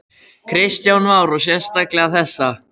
Kristján Már: Og sérstaklega þessa?